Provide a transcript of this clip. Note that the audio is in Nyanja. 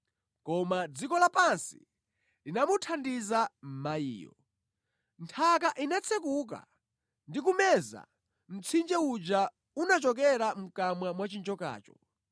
Koma dziko lapansi linamuthandiza mayiyo. Nthaka inatsekuka ndi kumeza mtsinje uja unachokera mʼkamwa mwa chinjokacho.